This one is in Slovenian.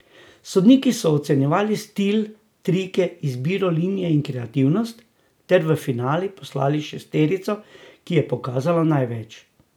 Sodniki so ocenjevali stil, trike, izbiro linije in kreativnost, ter v finale poslali šesterico, ki je pokazala največ.